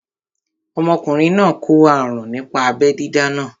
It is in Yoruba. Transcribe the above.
Ọmọkùnrin náà kó àrùn nípa abẹ́ dídá náà